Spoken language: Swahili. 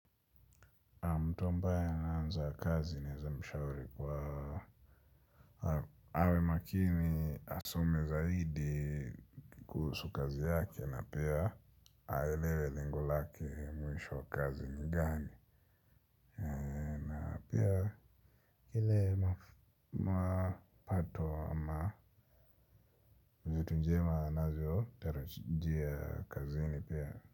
Mtu ambaye anaanza kazi naeza mshauri kua awe makini asome zaidi kuhusu kazi yake na pia aelewe lengo lake mwisho wa kazi ni gani. Na pia ile mapato ama mtu mzima anavyo tarajia kazini pia.